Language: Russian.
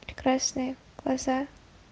прекрасные глаза